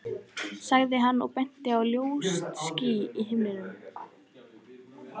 sagði hann og benti á ljóst ský á himninum.